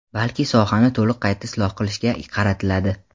balki sohani to‘liq qayta isloh qilishga qaratiladi.